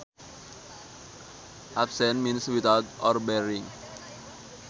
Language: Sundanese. Absent means without or barring